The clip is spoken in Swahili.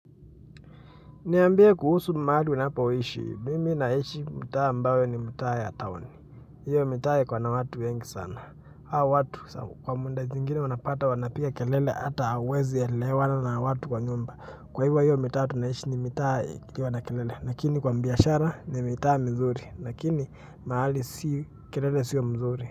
Niambie kuhusu mahali unapoishi, mimi naishi mtaa ambao ni mtaa ya town. Hiyo mtaa iko na watu wengi sana. Haao watu kwa muda nyingine unapata wanapiga kelele ata hauwezi elewana na watu kwa nyumba. Kwa hivyo hiyo mtaa tunaishi ni mitaa ya kelele. Lakini kwa biashara ni mtaa mzuri. Lakini mahali si kelele siyo mzuri.